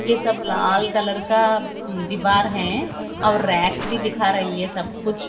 ये सब लाल कलर का दीवार हैं और भी दिखा रही है सब कुछ--